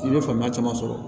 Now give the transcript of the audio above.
I bɛ faamuya caman sɔrɔ